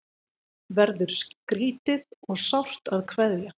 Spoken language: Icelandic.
Verður skrýtið og sárt að kveðja